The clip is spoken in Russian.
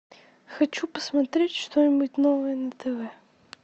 хочу посмотреть что нибудь новое на тв